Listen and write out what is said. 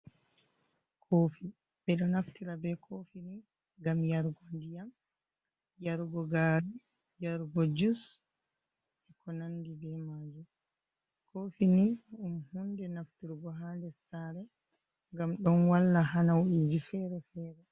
Kofi ɓeɗo naftira be kofi ni gam yargo ndiyam, yargo gari yargo jus e ko nandi be majum. Kofi ni ɗum hunde nafturgo ha nder sare ngam ɗon walla hanawiji fere fere.